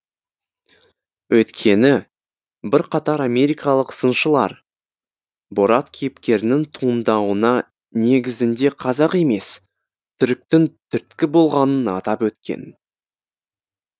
өйткені бірқатар америкалық сыншылар борат кейіпкерінің туындауына негізінде қазақ емес түріктің түрткі болғанын атап өткен